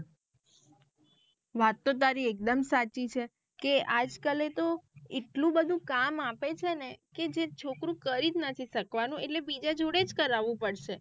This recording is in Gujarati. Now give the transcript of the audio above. વાત તો તારી એક દમ સાચી છે કે આજ કાલે તો એટલું બધું કામ આપે છેને કે જે છોકરું કરી જ નથી શકવાનું એટલે બીજા જોડે જ કરવું પડશે.